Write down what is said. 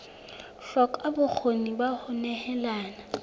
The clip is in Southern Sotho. hloka bokgoni ba ho nehelana